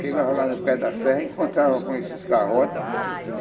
Chegava lá no pé da serra, encontrava com esses garrotes.